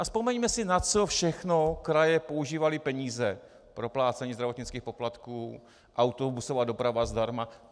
A vzpomeňme si, na co všechno kraje používaly peníze - proplácení zdravotnických poplatků, autobusová doprava zdarma.